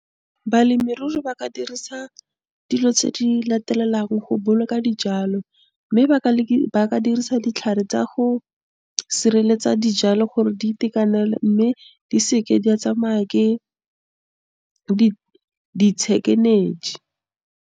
Balemirui ba ka dirisa dilo tse di latelang go boloka dijalo, mme , ba ka dirisa ditlhare tsa go sireletsa dijalo gore di itekanele mme di seke di a tsamaye ke, .